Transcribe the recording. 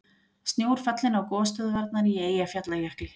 Snjór fallinn á gosstöðvarnar í Eyjafjallajökli